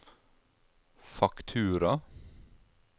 faktura